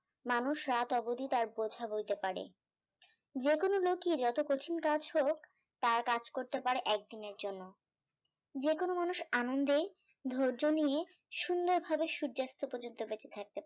মানুষ রাট অব্দি তার বোঝা বৈতে পারে যে কোনো লোকই যতো কঠিন কাজ হোক তার কাজ করতে পারে একদিন এর জন্য যে কোনো মানুষ আনন্দে ধার্য নিয়ে সুন্দর ভাবে সূর্যা অস্ত পর্যন্ত